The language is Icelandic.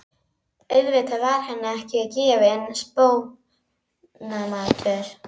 Auðvitað var henni ekki gefinn spónamatur.